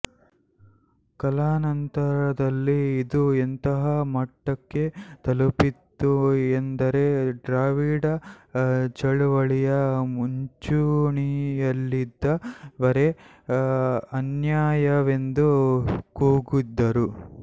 ಕಾಲಾನಂತರದಲ್ಲಿ ಇದು ಎಂತಹ ಮಟ್ಟಕ್ಕೆ ತಲುಪಿತ್ತು ಎಂದರೆ ದ್ರಾವಿಡ ಚಳುವಳಿಯ ಮುಂಚೂಣಿಯಲ್ಲಿದ್ದವರೇ ಅನ್ಯಾಯವೆಂದು ಕೂಗಿದರು